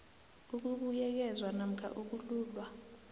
ukubuyekezwa namkha ukululwa